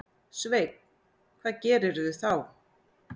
Sveinn: Hvað gerirðu þá?